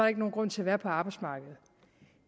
ikke nogen grund til at være på arbejdsmarkedet